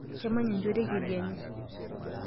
Kemanya enchoto e kedienye.